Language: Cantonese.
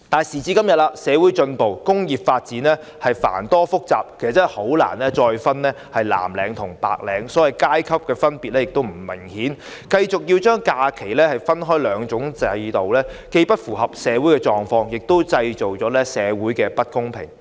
時至今天，社會進步，工種已發展至繁多複雜，難以再分藍領或白領，所謂的階級分別也不再明顯，繼續把假期分成兩種制度，既不符合社會狀況，也會製造社會不公平。